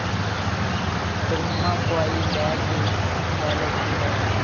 ਸੁਰਮਾ ਪਵਾਈ ਲੈ ਕੇ ਲੈ ਲੈਂਦੀ ਹੈ।